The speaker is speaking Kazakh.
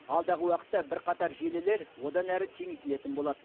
алдағы уақытта бірқатар желілер одан әрі кеңейтілетін болады